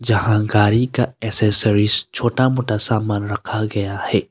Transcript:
यहां गाड़ी का एसेसरीज छोटा मोटा सामान रखा गया है।